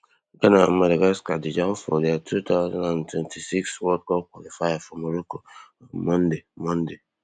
ghana and madagascar dey jam for dia two thousand and twenty-six world cup qualifier for morocco on monday monday